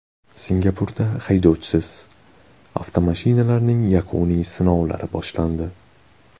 Singapurda haydovchisiz avtomashinalarning yakuniy sinovlari boshlandi.